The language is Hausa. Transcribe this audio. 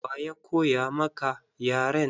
Wa ya koya maka yaren?